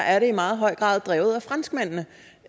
er i meget høj grad drevet af franskmændene